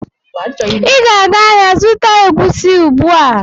Ị ga-aga ahịa zụta egwusi ugbu a!